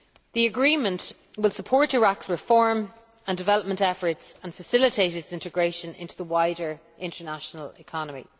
The agreement will support Iraq's reform and development efforts and facilitate its integration into the wider international economy.